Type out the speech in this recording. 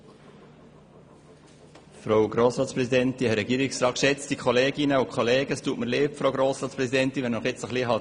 Es tut mir leid, Frau Grossratspräsidentin, falls ich Sie ein bisschen aus dem Konzept gebracht habe.